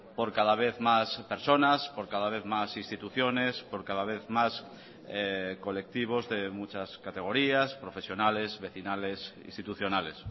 por cada vez más personas por cada vez más instituciones por cada vez más colectivos de muchas categorías profesionales vecinales institucionales